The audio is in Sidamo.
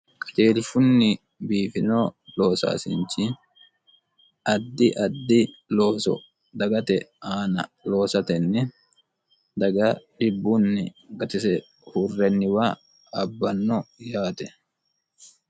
qajeelshunni biifino loosaasinchi addi addi looso dagate aana loosatenni daga dhibbunni gatise huurrenniwa abbanno yaate